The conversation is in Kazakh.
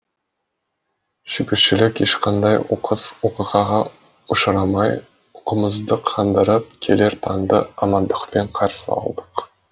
шүкіршілік ешқандай оқыс оқиғаға ұшырамай ұйқымызды қандырып келер таңды амандықпен қарсы алдық